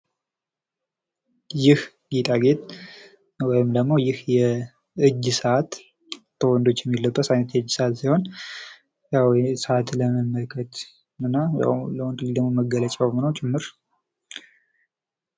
ይህ ጌጣጌጥ ወይም ደግሞ ይህ የእጅ ሰዓት በወንዶች የሚለበስ አይነት የእጅ ሰዓት ሲሆን ያዉ ሰዓትን ለመመልከት የሚጠቅም ሲሆን ያዉ ለወንድ ልጅም መገለጫዉ ጭምር ነዉ።